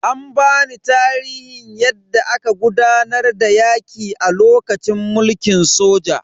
An bani tarihin yadda aka gudanar da yaki a lokacin mulkin soja.